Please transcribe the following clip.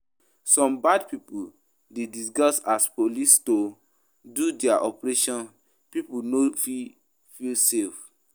Some bad pipo de disguise as police to use do their operation pipo no feel feel safe